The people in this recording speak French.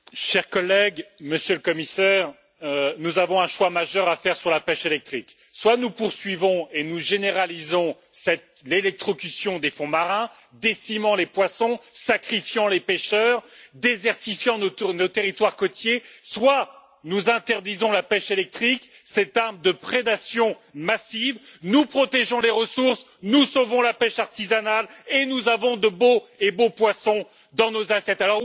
Monsieur le Président, Monsieur le Commissaire, chers collègues, nous avons un choix majeur à faire sur la pêche électrique. Soit nous poursuivons et nous généralisons l'électrocution des fonds marins qui décime les poissons, sacrifie les pêcheurs, désertifie nos territoires côtiers, soit nous interdisons la pêche électrique, cette arme de prédation massive, nous protégeons les ressources, nous sauvons la pêche artisanale et nous avons de beaux et bons poissons dans nos assiettes.